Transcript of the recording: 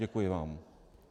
Děkuji vám.